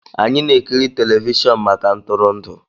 Anyị na-ekiri telivishọn maka ntụrụndụ